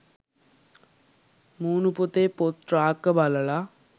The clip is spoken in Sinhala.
මූණු පොතේ 'පොත් රාක්ක' බලලා